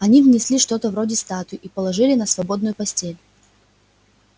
они внесли что-то вроде статуи и положили на свободную постель